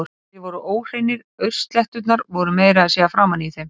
Þeir voru óhreinir, aursletturnar voru meira að segja framan í þeim.